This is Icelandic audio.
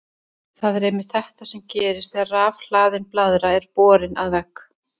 Það er einmitt þetta sem gerist þegar rafhlaðin blaðra er borin að vegg.